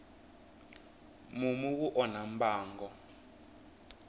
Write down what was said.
mumu wu onha mbango